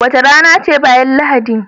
Wace rana ce bayan Lahadi?